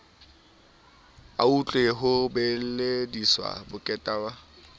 autlwe ho bolediswa bokweta bo